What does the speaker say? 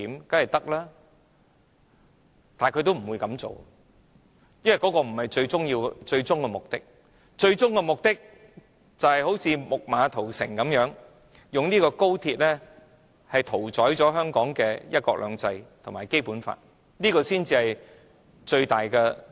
但是，政府不會這樣做，因為這不是最終的目的，最終的政治目的是如"木馬屠城"般，用高鐵屠宰香港的"一國兩制"及《基本法》。